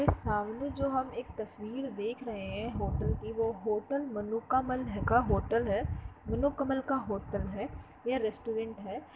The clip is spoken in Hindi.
सामने जो हम एक तस्वीर देख रहे हैं होटल की वो होटल मनुकामल का होटल है | मनोकमल का होटल है या रेस्टुरेंट है ।